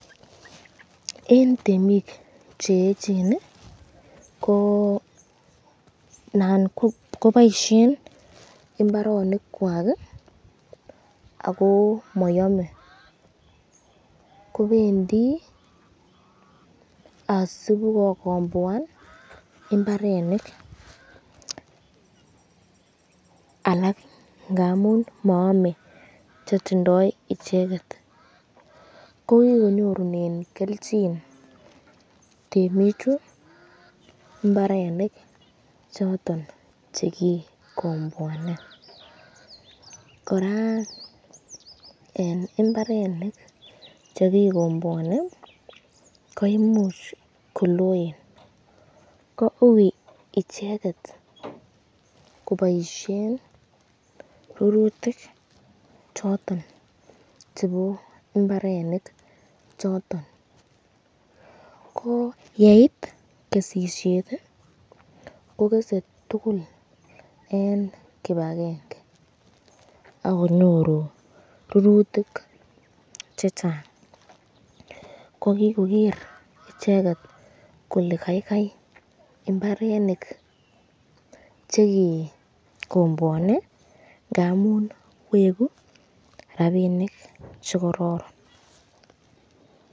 Eng temik cheechen ko Nan koboisyeng imbaronik kwak, ako mayome ,kobendi asibokokomboan imbarenik alak ngamun maame chetindoi icheket, ko kikonyorunen kelchin temichu imbarenik choton chekikomboane, koraa eng imbarenik chekikomboani koimuch koloen ko ui icheket kobaisyen rurutik choton chebo imbarenik choton, ko yeitkesisyet ko kese tukul eng kibakenge akonyoru rurutik chechang, ko kikoger icheket kole kaikai imbarenik chekikomboani ngamun weku rapinik chekororon.